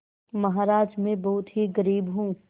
महाराज में बहुत ही गरीब हूँ